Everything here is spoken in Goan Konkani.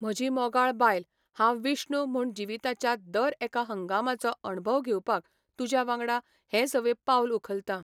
म्हजी मोगाळ बायल, हांव विष्णु म्हूण जिविताच्या दर एका हंगामाचो अणभव घेवपाक तुज्या वांगडा हें सवें पावल उखलतां.